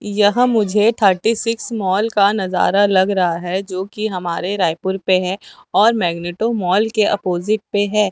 यह मुझे thirty six mall का नजर लग रहा है जो कि हमारे रायपुर पे है और मैग्नेटो मॉल के अपोजिट पे है।